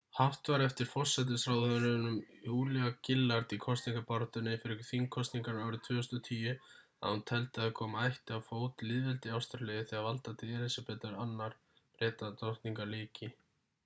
haft var eftir forsætisráðherranum julia gillard í kosningabaráttunni fyrir þingkosningarnar árið 2010 að hún teldi að koma ætti á fót lýðveldi í ástralíu þegar valdatíð elísabetar ii bretadrottningar lyki